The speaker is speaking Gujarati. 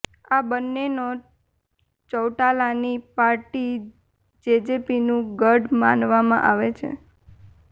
આ બંનેનો ચૌટાલાની પાર્ટી જેજેપીનું ગઢ માનવામાં આવે છે